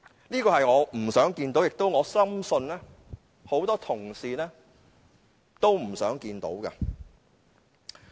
這個局面我不想看到，而我深信很多同事也不想看到。